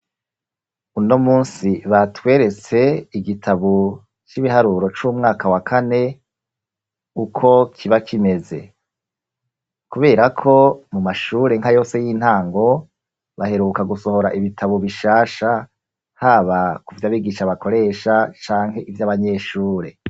Uno munsi batweretse igitabo c'ibiharuro c'umwaka wa kane uko kiba kimeze. Kubera ko mu mashure nka yose y'intango baheruka gusohora ibitabo bishasha haba kuvy'abigisha bakoresha canke ivy'abanyeshure.